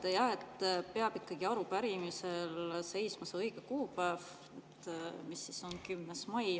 Te ütlesite jah, et arupärimisel peab ikkagi seisma see õige kuupäev, mis on 10. mai.